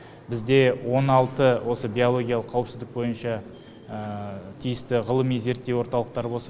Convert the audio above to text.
бізде он алты осы биологиялық қауіпсіздік бойынша тиісті ғылыми зерттеу орталықтары болса